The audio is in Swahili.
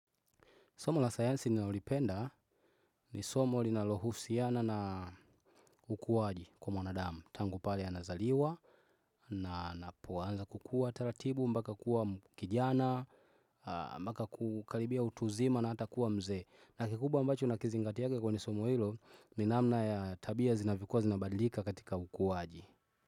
Somo la sayansi ninalolipenda ni somo linalohusiana na ukuaji kwa mwanadamu. Tangu pale anazaliwa, na anapoanza kukua taratibu mpaka kuwa kijana, mpaka kukaribia utu uzima na hata kuwa mzee. Na kikubwa ambacho nakizingatia kwenye somo hilo ni namna ya tabia zinavyokuwa zinabadilika katika ukuwaji.